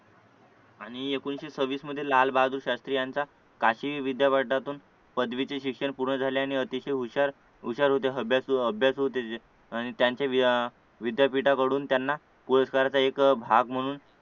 आणि एकोणीशे सव्वीस मध्ये लालबहादूर शास्त्री यांचा काशी विद्यापीठातून पदवीचे शिक्षण पूर्ण झाले आणि अतिशय हुशार हुशार होते अभ्यासू अभ्यासू होते ते आणि त्यांचे अह विद्यापीठाकडून त्यांना पुरस्काराचा एक भाग म्हणून